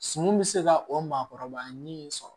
Sunu be se ka o maakɔrɔba ɲinini sɔrɔ